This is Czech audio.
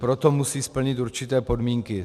Proto musí splnit určité podmínky.